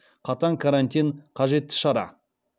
қатаң карантин қажетті шара